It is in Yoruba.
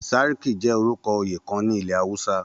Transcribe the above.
Sàrki jẹ́ orúkọ oyè kan ní ilẹ̀ Awúsá